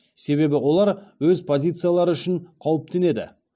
себебі олар өз позициялары үшін қауіптенеді